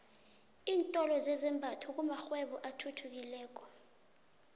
iintolo zezambatho kumakghwebo athuthukileko